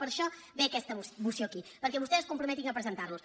per això ve aquesta moció aquí perquè vostès es comprometin a presentar·los